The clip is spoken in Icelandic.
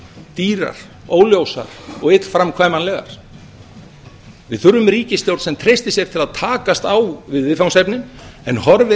dýrar óljósar og illframkvæmanlegar við þurfum ríkisstjórn sem treystir sér til að takast á við viðfangsefnin en horfir